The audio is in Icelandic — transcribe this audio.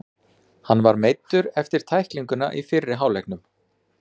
Hann var meiddur eftir tæklinguna í fyrri hálfleiknum.